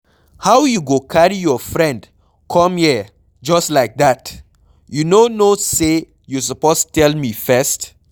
How you go carry your friend come here just like dat? You no know say you suppose tell me first.